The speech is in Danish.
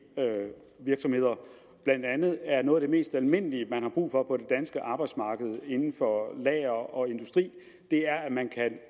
virksomheder blandt andet er noget af det mest almindelige der er brug for på det danske arbejdsmarked inden for lager og industri at man kan